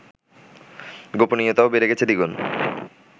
গোপনীয়তাও বেড়ে গেছে দ্বিগুণ